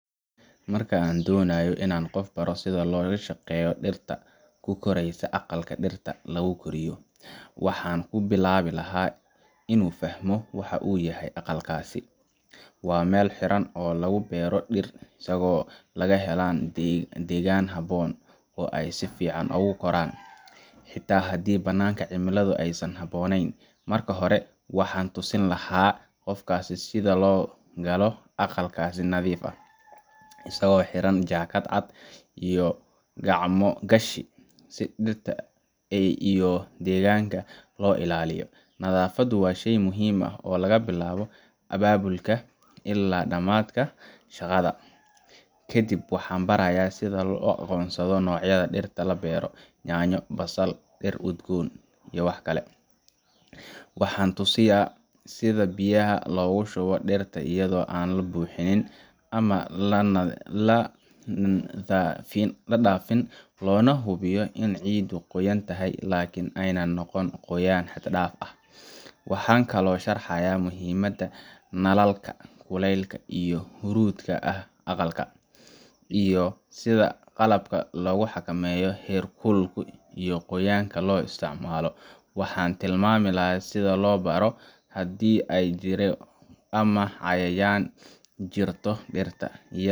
Marka aan doonayo in aan qof u baro sida loola shaqeeyo dhirta ku koraysa aqalka dhirta lagu koriyo, waxaan ku bilaabi lahaa inuu fahmo waxa uu yahay aqalkaasi. Waa meel xiran oo lagu beero dhir si ay u helaan degaan habboon oo ay si fiican ugu koraan, xitaa haddii bannaanka cimiladu aysan habboonayn. Marka hore, waxaan tusi lahaa qofka sida loo galo aqalka si nadiif ah, isagoo xiran jaakad cad iyo gacmo gashi, si dhirta iyo deegaanka loo ilaaliyo. Nadaafaddu waa shay muhiim ah oo laga bilaabo albaabka ilaa dhammaadka shaqada. Kadib waxaan barayaa sida loo aqoonsado noocyada dhirta la beero: yaanyo, basal, dhir udgoon, iyo waxkale . Waxaan tusayaa sida biyaha loogu shubo dhirta iyadoo aan la bixin ama la dhaafin, loona hubiyo in ciiddu qoyan tahay laakiin aanay noqon qoyaan xad dhaaf ah. Waxaan kaloo sharxayaa muhiimadda nalalka, kulaylka iyo huruurdka ah ee aqalka, iyo sida qalabka lagu xakameeyo heerkulka iyo qoyaanka loo isticmaalo. Waxaan u tilmaamayaa sida loo baaro haddii ay jirro ama cayayaan jirto dhirta,